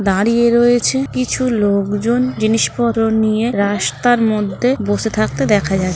দাঁড়িয়ে রয়েছে কিছু লোকজন জিনিসপত্র নিয়ে রাস্তার মধ্যে বসে থাকতে দেখা যা --